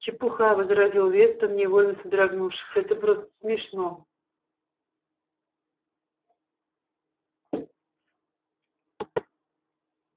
чепуха возразил вестон невольно содрогнувшись это просто смешно